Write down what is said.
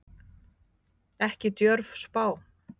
Ekki djörf spá.